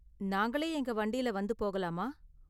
நாங்களே எங்க வண்டியில வந்து போகலாமா?